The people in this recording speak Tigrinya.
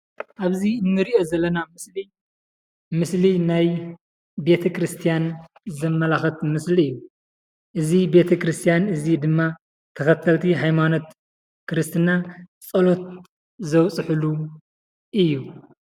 ኣብዚ ንሪኦ ዘለና ምስሊ ምስሊ ናይ ቤተክርስያን ዘመላክት ምስሊ እዩ። እዚ ቤተክርስያን እዚ ድማ ተከተልቲ ሃይማኖት ክርስትና ፀሎት ዘብፅሕሉ እዩ።